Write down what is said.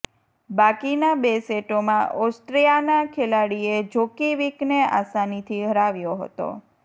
બાકીના બે સેટોમાં ઓસ્ટ્રિયાના ખેલાડીએ જોકિવિકને આસાનીથી હરાવ્યો હતો